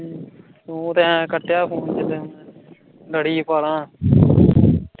ਤੂੰ ਤਾਂ ਐਂ ਕਟਿਆ ਫ਼ੋਨ , ਲੜੀ ਪਾਲ਼ਾਂ